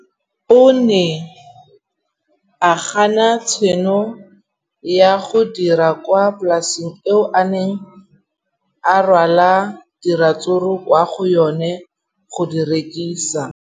O ne a gana tšhono ya go dira kwa polaseng eo a neng rwala diratsuru kwa go yona go di rekisa.